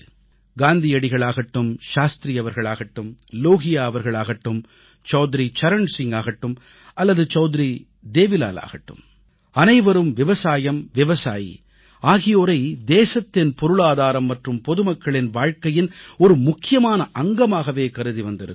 காந்தியடிகள் ஆகட்டும் லால் பகதூர் சாஸ்த்ரி அவர்கள் ஆகட்டும் லோஹியா அவர்கள் ஆகட்டும் சவுத்ரி சரண் சிங் ஆகட்டும் அல்லது சவுத்ரி தேவிலால் ஆகட்டும் அனைவரும் விவசாயம் விவசாயி ஆகியோரை தேசத்தின் பொருளாதாரம் மற்றும் பொதுமக்களின் வாழ்க்கையின் ஒரு முக்கியமான அங்கமாகவே கருதி வந்திருக்கிறார்கள்